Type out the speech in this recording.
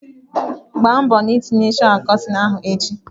Gba mbọ na ị tinyere sháwà kọtịn ahụ echi!